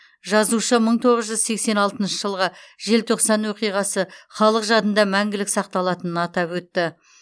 жазушы мың тоғыз жүз сексен алтыншы жылғы желтоқсан оқиғасы халық жадында мәңгілік сақталатынын атап өтті